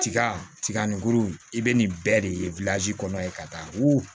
Tiga tiga nin kuru i bɛ nin bɛɛ de kɔnɔ ye ka taa wo